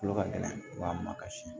Kolo ka gɛlɛn wa ma ka si